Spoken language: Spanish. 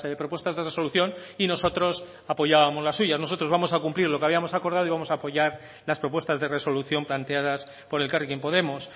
propuestas de resolución y nosotros apoyábamos las suyas nosotros vamos a cumplir lo que habíamos acordado y vamos a apoyar las propuestas de resolución planteadas por elkarrekin podemos